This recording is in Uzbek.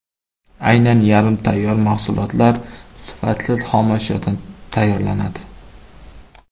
Aynan yarim tayyor mahsulotlar sifatsiz xomashyodan tayyorlanadi.